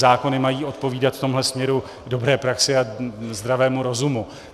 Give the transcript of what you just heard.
Zákony mají odpovídat v tomhle směru dobré praxi a zdravému rozumu.